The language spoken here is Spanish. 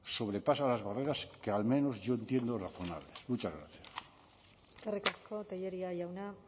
sobrepasa las barreras que al menos yo entiendo razonables muchas gracias eskerrik asko tellería jauna